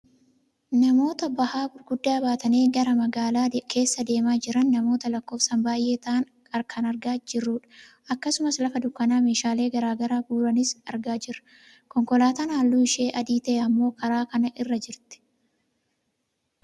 namoota bahaa gurguddaa baatanii karaa magaalaa keessa demaa jiran namoota lskkoofsaan baayyee ta'an argaa kan jirrudha. akkasumas lafa dunkaana meeshaalee gara garaa gurguranis argaa jirra. konkolaataan halluun ishee adii ta'e ammoo karaa kana irra jirti.